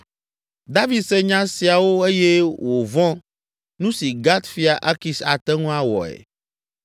David se nya siawo eye wòvɔ̃ nu si Gat fia Akis ate ŋu awɔe.